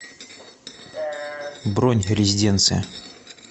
бронь резиденция